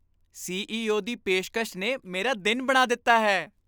CEO. ਦੀ ਪੇਸ਼ਕਸ਼ ਨੇ ਮੇਰਾ ਦਿਨ ਬਣਾ ਦਿੱਤਾ ਹੈ।